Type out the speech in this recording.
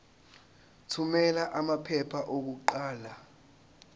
thumela amaphepha okuqala